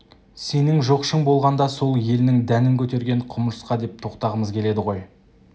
сенің жоқшың болғанда сол елінің дәнін көтерген құмырсқа деп тоқтағым келеді ғой